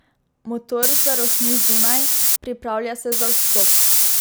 Motor zarohni zunaj, pripravlja se za vstop.